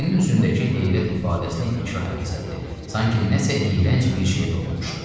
Ceynin üzündəki heyrət ifadəsini ikrah əvəz etdi, sanki nəsə iyrənc bir şeyə toxunmuşdu.